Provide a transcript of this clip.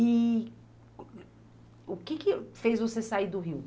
E o que que fez você sair do Rio?